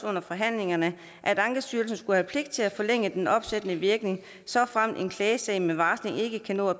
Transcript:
under forhandlingerne at ankestyrelsen skulle have pligt til at forlænge den opsættende virkning såfremt en klagesag med varsling ikke kan nå at